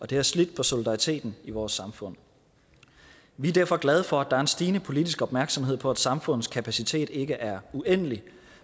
det har slidt på solidariteten i vores samfund vi er derfor glade for at der er en stigende politisk opmærksomhed på at samfundets kapacitet ikke er uendelig